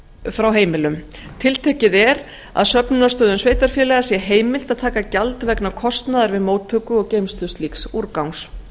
frá heimilum tiltekið er að söfnunarstöðvum sveitarfélaga sé heimilt að taka gjald vegna kostnaðar við móttöku og geymslu slíks úrgangs